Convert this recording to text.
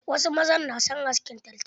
Wasu mazan na son askin taltal.